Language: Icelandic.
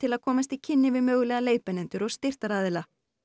að komast í kynni við mögulega leiðbeinendur og styrktaraðila